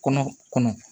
Kɔnɔ kɔnɔ